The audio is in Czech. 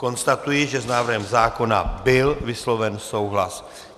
Konstatuji, že s návrhem zákona byl vysloven souhlas.